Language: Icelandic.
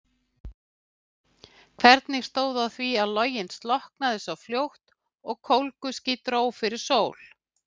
Hvernig stóð á því að loginn slokknaði svo fljótt og kólguský dró fyrir sól?